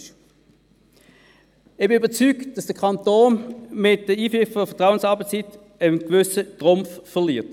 Ich bin überzeugt, dass der Kanton mit der Einführung der Vertrauensarbeitszeit einen gewissen Trumpf verliert.